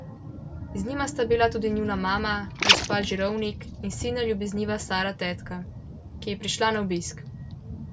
Z njima sta bili tudi njuna mama, gospa Žirovnik, in silno ljubezniva stara tetka, ki je prišla na obisk.